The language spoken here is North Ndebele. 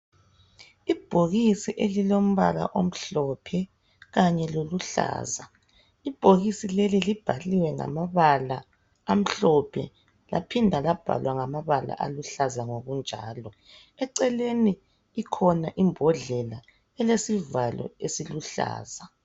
ibhokisi elilombala omhlophe kanye loluhlaza ibhokisi leli libhaliwe ngamabala amhlophe laphinda labhalwa ngamabala aluhlaza ngokunjalo eceleni ikhona imbodlela elesivalo esiluhlaza